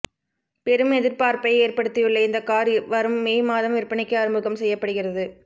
பெரும் எதிர்பார்ப்பை ஏற்படுத்தியுள்ள இந்த கார் வரும் மே மாதம் விற்பனைக்கு அறிமுகம் செய்யப்படுகிறது